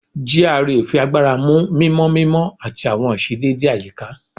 GRA fi agbara mu mimọ mimọ ati awọn iṣedede ayika